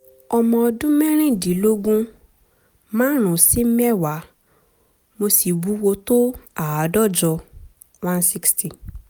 ọmọ ọdún mẹ́rìndínlógún márùn-ún sí mẹ́wàá mo sì wúwo tó àádọ́jọ [160]